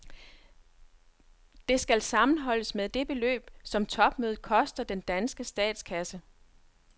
Det skal sammenholdes med det beløb, som topmødet koster den danske statskasse.